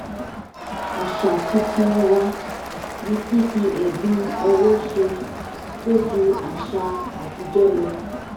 àṣà tuntun wa ni fífi ẹ̀bùn ọwọ́ ṣe tó ju àṣà àtijọ́ lọ